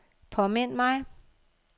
påmind mig